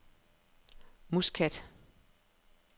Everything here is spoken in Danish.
Muskat